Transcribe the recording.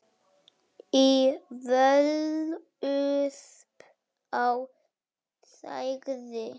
Í Völuspá segir